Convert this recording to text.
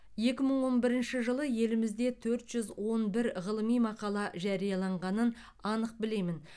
екі мың он бірінші жылы елімізде төрт жүз он бір ғылыми мақала жарияланғанын анық білемін